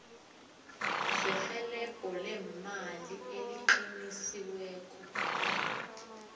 serhelebho leemali eliqinisiweko